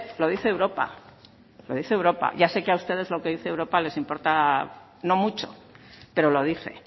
lo dice europa lo dice europa ya sé que a ustedes lo que dice europa les importa no mucho pero lo dice